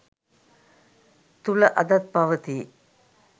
තුළ අදත් පවති යි.